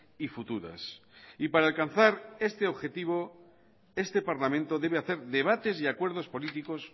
y futuras y para alcanzar este objetivo este parlamento debe hacer debates y acuerdos políticos